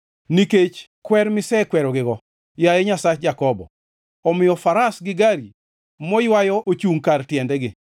Nikech kwer misekwerogigo, yaye Nyasach Jakobo omiyo faras gi gari moywayo ochungʼ kar tiendegi.